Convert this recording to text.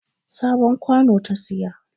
Sabon kwano ta siyo